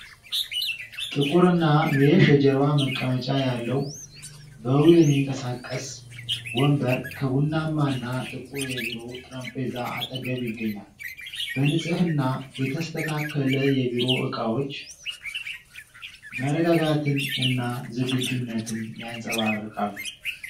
ጥቁርና ሜሽ የጀርባ መቀመጫ ያለው፣ በዊል የሚንቀሳቀስ ወንበር ከቡናማና ጥቁር የቢሮ ጠረጴዛ አጠገብ ይገኛል። በንጽህና የተስተካከለ የቢሮ እቃዎች መረጋጋትን እና ዝግጁነትን ያንጸባርቃሉ።